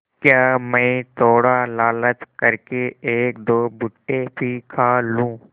क्या मैं थोड़ा लालच कर के एकदो भुट्टे भी खा लूँ